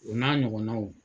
U n'a ɲɔgɔnnaw.